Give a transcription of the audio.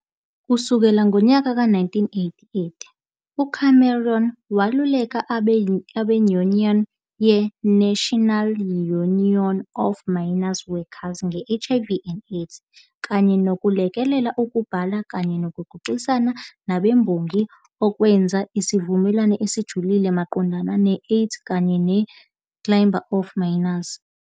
Ukusukela ngonyaka ka 1988, uCameron weluleka abenyunyane ye-National Union of Mine Workers nge-HIV and AIDS kanye nokulekelela ukubhala kanye nokuxoxisana nabemboni ngokwenza isivumelwano esijulile maqondana ne-AIDS kanye nabe-Chamber of Mines.